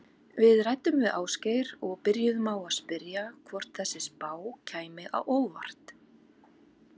Við ræddum við Ásgeir og byrjuðum á að spyrja hvort þessi spá kæmi á óvart?